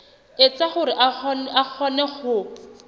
etsa hore a kgone ho